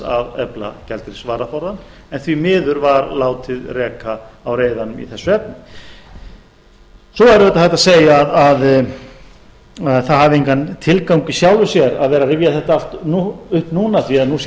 að efla gjaldeyrisvaraforðann en því miður var látið reka á reiðanum í þessu efni á er auðvitað hægt að segja að það hafi engan tilgang í sjálfu sér að vera að rifja þetta allt upp núna því að nú sé